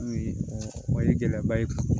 O o ye gɛlɛyaba ye